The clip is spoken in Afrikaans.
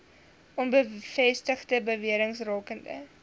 onbevestigde bewerings rakende